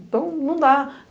Então, não dá.